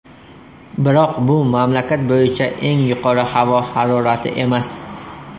Biroq bu mamlakat bo‘yicha eng yuqori havo harorati emas.